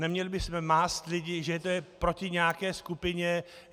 Neměli bychom mást lidi, že to je proti nějaké skupině.